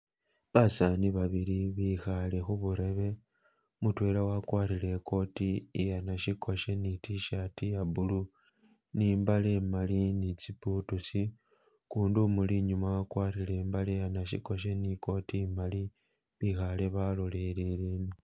Basani babili bikhale khuburebe , mutwela akwarire ikoti iye nashikoshe ni tshirt iye blue ne imbale imali ne tsi butusi , ukundi umuli inyuma akwarire imbale iye nashikoshe ni coat imali bikhale balolele ino.